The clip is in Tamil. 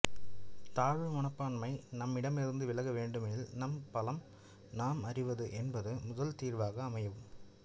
தாழ்வு மனப்பான்மை நம்மிடமிருந்து விலக வேண்டுமெனில் நம் பலம் நாம் அறிவது என்பது முதல் தீர்வாக அமையும்